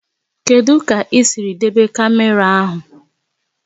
Kedụ kà isiri debe kamera áhu?